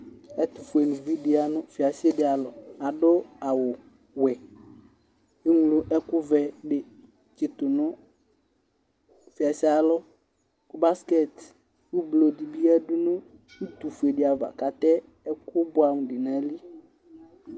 Ɛtufuenivi dɩ ya nʋ fiase dɩ alɔ Adʋ awʋwɛ Eŋlo ɛkʋvɛ dɩ tsitu nʋ fiasee ayalɔ Baskɛtɩ ʋblʋ dɩ bɩ yadʋ nʋ utufue dɩ ava, kʋ atɛ ɛkʋbʋɛamʋ dʋ nʋ ayili